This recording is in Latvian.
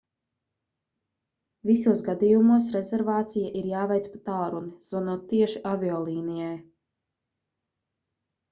visos gadījumos rezervācija ir jāveic pa tālruni zvanot tieši aviolīnijai